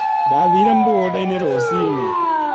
Ndathiire mũgũnda-inĩ rũcinĩ.